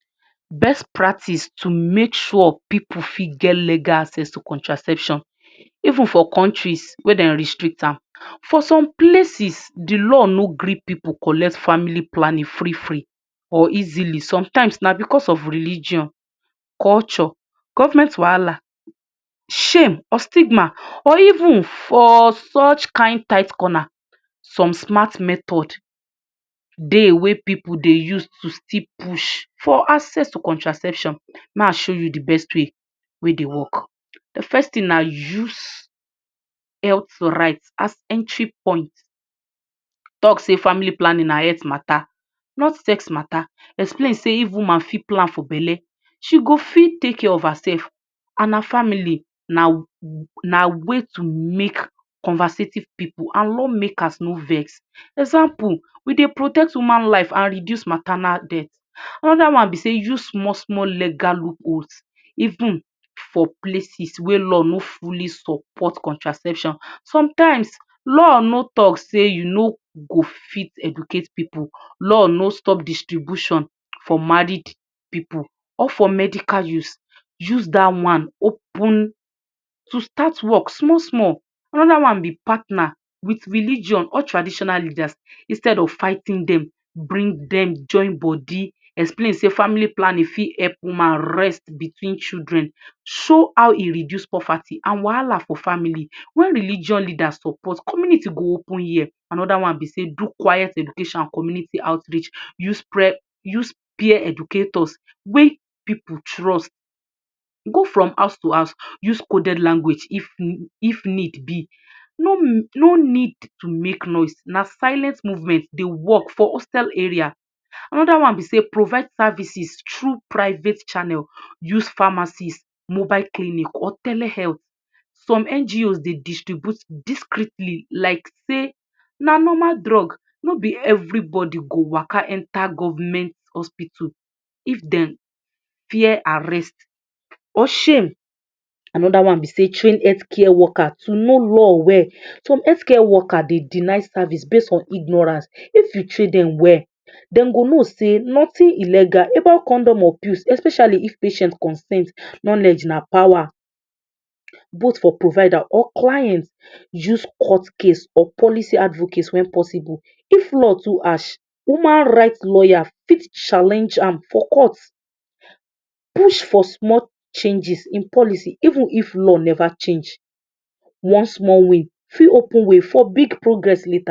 Best practice to make sure pipu fit get legal access to contraception, even for countries wey dem restrict am. For some places, de law no gree pipu collect family planning free free or easily. Sometimes na because of religion, culture, government wahala, shame, or stigma, or even for such kind tight corner some smart method dey wey pipu dey use to still push for access to contraception. Ma show you de best way wey dey work. De first thing na use health right as entry point. Talk sey family planning na health mata not sex mata. Explain sey if woman fit plan for bele, she go fit take care of herself and her family. Na na way to make conversative pipu and law makers no vex. Example, we dey protect human life and reduce maternal death. Another one be sey use small small legal loopholes even for places where law no fully support contraception. Sometimes law no talk sey you no go fit educate pipu. Law no stop distribution for married pipu or for medical use. Use dat one open to start work small small. Another one be partner with religion or traditional leaders. Instead of fighting dem, bring dem join body. Explain sey family planning fit help woman rest between children. Show how e reduce poverty and wahala for family. When religion leader support, community go open ear. Another one be sey do quiet education and community outreach. Use use peer educators wey pipu trust. Go from house to house. Use coded language if if need be. No no need to make noise, na silent movement dey work for hostel area. Another one be sey provide services through private channel. Use pharmacies, mobile clinic, or telehealth. Some NGOs dey distribute discretely like sey na normal drug. No be everybody go waka enter government hospital if dem fear arrest or shame. Another one be sey train healthcare worker to know law well. Some healthcare worker dey deny service base on ignorance. If you train dem well, dem go know sey notin illegal about condom or pills, especially if patient consent. Knowledge na power, both for provider or client. Use court case or policy advocate when possible. If law too harsh, human right lawyer fit challenge am for court. Push for small chnges in policy even if law never change. One small win fit open way for big progress later.